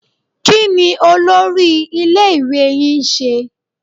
Kí ni olórí iléèwé yín ń ṣe?